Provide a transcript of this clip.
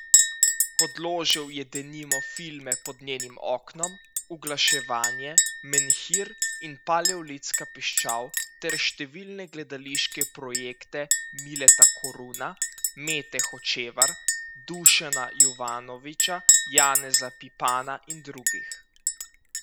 Podložil je denimo filme Pod njenim oknom, Uglaševanje, Menhir in Paleolitska piščal ter številne gledališke projekte Mileta Koruna, Mete Hočevar, Dušana Jovanovića, Janeza Pipana in drugih.